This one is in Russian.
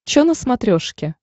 чо на смотрешке